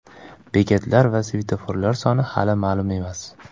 Bekatlar va svetoforlar soni hali ma’lum emas.